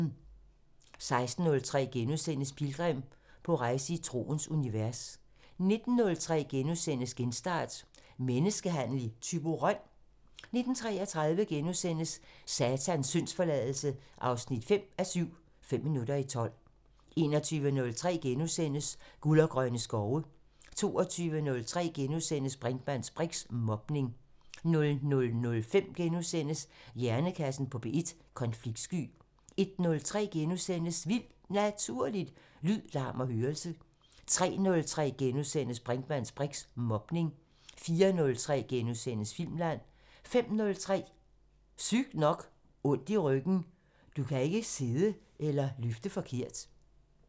16:03: Pilgrim – på rejse i troens univers * 19:03: Genstart: Menneskehandel i Thyborøn? * 19:33: Satans syndsforladelse 5:7 – Fem minutter i tolv * 21:03: Guld og grønne skove * 22:03: Brinkmanns briks: Mobning * 00:05: Hjernekassen på P1: Konfliktsky * 01:03: Vildt Naturligt: Lyd, larm og hørelse * 03:03: Brinkmanns briks: Mobning * 04:03: Filmland * 05:03: Sygt nok: Ondt i ryggen – Du kan ikke sidde eller løfte forkert